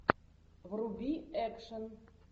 вруби экшн